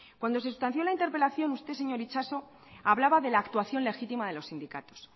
cuando se sustanció la interpelación usted señor itxaso hablaba de la actuación legítima de los sindicatos